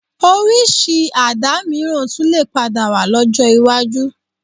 Orísìí Àdá mìíràn tún lè padà wà lọ́jọ́ iwájú